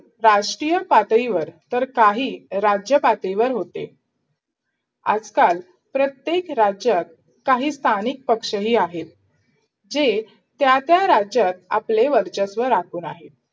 राष्ट्रीय पातळीवर, तर काही राज्य पातळीवर होते आजकाल प्रत्येक राज्यात काही स्थानिक पक्षही आहेत जे त्या त्या राज्यात आपले वर्चस्व राखून आहेत.